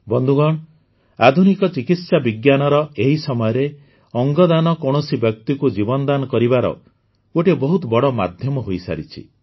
ବନ୍ଧୁଗଣ ଆଧୁନିକ ଚିକିତ୍ସା ବିଜ୍ଞାନର ଏହି ସମୟରେ ଅଙ୍ଗ ଦାନ କୌଣସି ବ୍ୟକ୍ତିକୁ ଜୀବନ ଦାନ କରିବାର ଗୋଟିଏ ବହୁତ ବଡ଼ ମାଧ୍ୟମ ହୋଇସାରିଛି